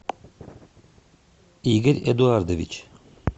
игорь эдуардович